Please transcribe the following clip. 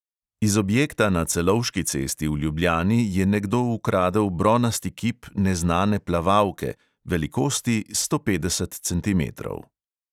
Iz objekta na celovški cesti v ljubljani je nekdo ukradel bronasti kip neznane plavalke, velikosti sto petdeset centimetrov.